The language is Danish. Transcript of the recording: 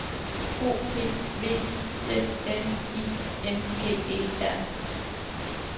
O P V I S N I N G E R